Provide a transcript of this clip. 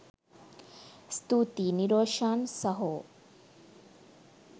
ස්තුතියි නිරෝශාන් සහෝ